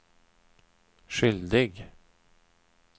skyldig